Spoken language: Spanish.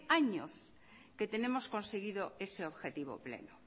años que tenemos conseguido ese objetivo pleno